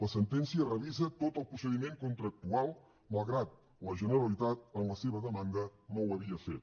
la sentència revisa tot el procediment contractual malgrat que la generalitat en la seva demanda no ho havia fet